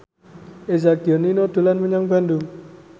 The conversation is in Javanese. Eza Gionino dolan menyang Bandung